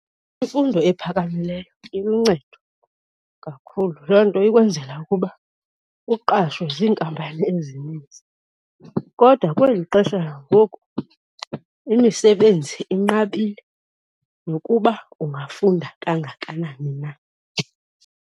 Imfundo ephakamileyo iluncedo kakhulu. Loo nto ikwenzela ukuba uqashwe ziinkampani ezininzi kodwa kweli xesha langoku imisebenzi inqabile nokuba ungafunda kangakanani na.